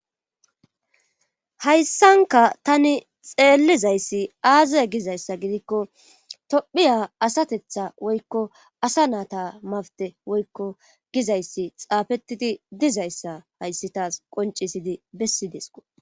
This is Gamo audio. Hayssanka tani xeellizayssi aaze gizayssa gidikko tophiya asatetha woykko asa naata mawte woykko gizayssi xaafettidi dizayssa hayssi taas qoncisidi bessi desko